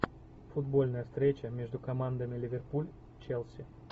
футбольная встреча между командами ливерпуль челси